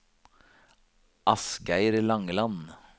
Asgeir Langeland